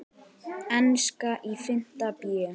Enska í fimmta bé.